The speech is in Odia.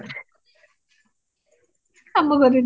କାମ କରେନି